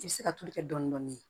I bɛ se ka tulu kɛ dɔɔnin dɔɔnin